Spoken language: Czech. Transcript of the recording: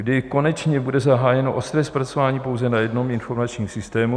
Kdy konečně bude zahájeno ostré zpracování pouze na jednom informačním systému?